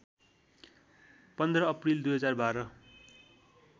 १५ April २०१२